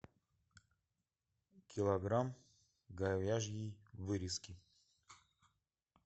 килограмм говяжьей вырезки